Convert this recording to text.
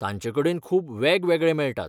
तांचेकडेन खूब वेगवेगळे मेळटात.